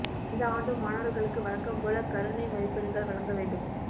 இந்த ஆண்டும் மாணவர்களுக்கு வழக்கம் போல கருணை மதிப்பெண்கள் வழங்க வேண்டும்